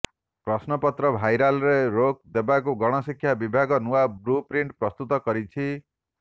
ପ୍ରଶ୍ନପତ୍ର ଭାଇରାଲରେ ରୋକ ଦେବାକୁ ଗଣଶିକ୍ଷା ବିଭାଗ ନୂଆ ବ୍ଲୁ ପ୍ରିଣ୍ଟ ପ୍ରସ୍ତୁତ କରିଛି